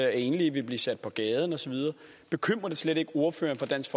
enlige vil blive sat på gaden og så videre bekymrer det slet ikke ordføreren for dansk